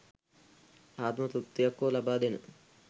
ආත්ම තෘප්තියක් හෝ ලබාදෙන